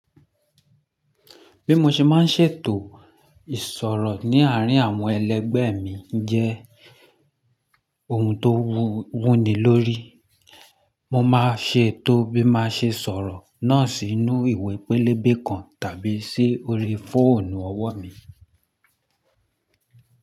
Bí mo ṣe máa ń ṣètò ìsọ̀rọ̀ ní àárín àwọn ẹlẹgbẹ́ mi jẹ́ ohun tó wúni lórí. Mo máa ṣe ètò bí má ṣe sọ̀rọ̀ náà sínú ìwé pélébé kan tàbí sí orí fóònù ọwọ́ mi.